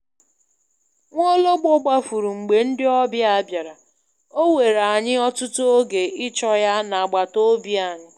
Nwaologbo gbafuru mgbe ndị ọbịa bịara, ọ were anyị ọtụtụ oge ịchọ ya n'agbataobi anyị.